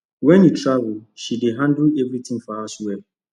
when he travel she dey handle everything for house well